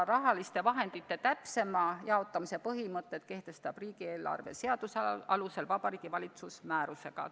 Raha täpsema jaotamise põhimõtted kehtestataks riigieelarve seaduse alusel Vabariigi Valitsus määrusega.